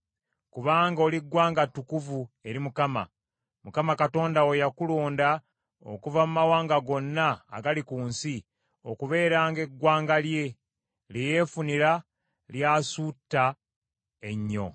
Kubanga oli ggwanga ttukuvu eri Mukama . Mukama Katonda wo yakulonda okuva mu mawanga gonna agali ku nsi okubeeranga eggwanga lye, lye yeefunira ly’asuuta ennyo.